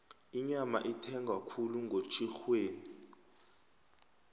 inyama ithengwa khulu ngotjhirhweni